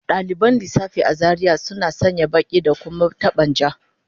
Dalibin lissafi a Zaria suna sanya kaya baki da kuma taban ja